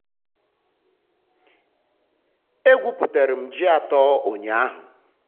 e gwuputere m ji atọ ụnyahụ.